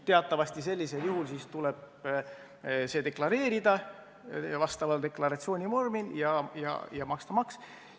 Teatavasti sellisel juhul tuleb see deklareerida vastaval deklaratsioonivormil ja maksta maks.